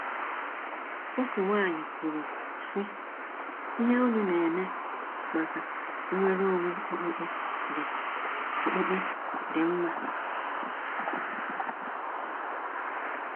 Otu nwaanyị kwuru sị: “Ihe unu na-eme maka nnwere onwe okpukpe dị okpukpe dị mma.”